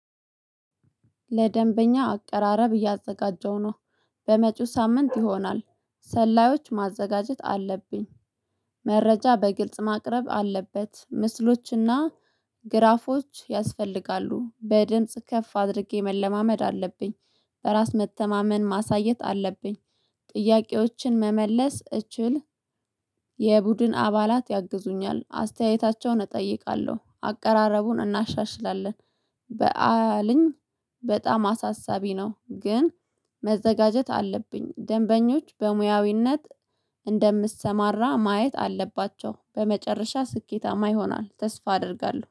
ለደንበኛ አቀራረብ እያዘጋጀው ነው በመጪው ሳምንት ይሆናል። ሰላዮች ማዘጋጀት አለብኝ። መረጃ በግልጽ ማቅረብ አለበት። ምስሎችና ግራፎች ያስፈልጋሉ በድምጽ ከፍ አድርጌ መለማመድ አለብኝ። በራስ መተማመን ማሳየት አለብኝ። ጥያቄዎችን መመለስ እችል። የቡድን አባላት ያግዙኛል አስተያየታቸውን እጠይቃለሁ አቀራረቡን እናሻሽላለን። በዓልኝ በጣም አሳሳቢ ነው። ግን መዘጋጀት አለብኝ። ደንበኞች በሙያዊነት እንደምሰማራ ማየት አለባቸው። በመጨረሻ ስኬታማ ይሆናል ተስፋ አደርጋለሁ